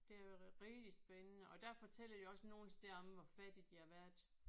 Det er jo rigtig spændende og der fortæller de også nogle steder om hvor fattige de har været